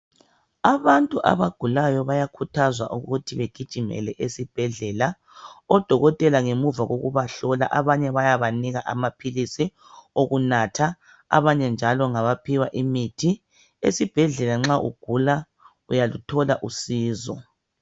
Abantu abagulayo bayakhuthazwa ikuthi begijimele ezibhedlela. Odokotela bayabahlola bebanike amaphilisi okunatha abanye njalo ngabaphiwa imithi. Kuqakathekile kakhulu ukuthi uvakatshele esibhedlela ukuze uthole usizo.